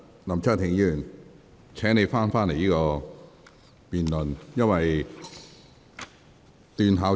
林卓廷議員，請你返回這項辯論的議題。